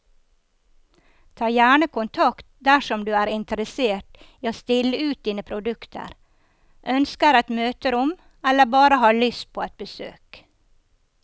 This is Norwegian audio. Ta gjerne kontakt dersom du er interessert i å stille ut dine produkter, ønsker et møterom eller bare har lyst på et besøk.